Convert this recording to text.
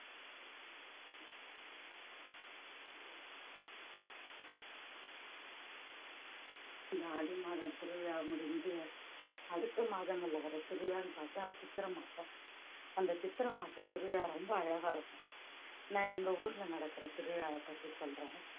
இந்த ஆடி மாத திருவிழா முடிந்து அடுத்த மாதங்கள்ல வர திருவிழான்னு பாத்தா சித்திரை மாசம் அந்த சித்திரை மாசம் திருவிழா ரொம்ப அழகா இருக்கும் நான் எங்க ஊர்ல நடக்குற திருவிழாவ பத்தி சொல்றேன்